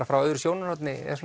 frá öðru sjónarhorni